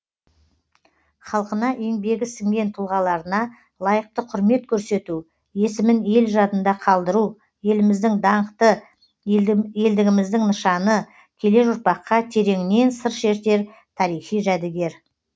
халқына еңбегі сіңген тұлғаларына лайықты құрмет көрсету есімін ел жадында қалдыру еліміздің даңқы елдігіміздің нышаны келер ұрпаққа тереңінен сыр шертер тарихи жәдігер